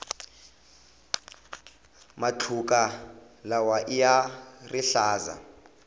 matluka lawaiya rihlaza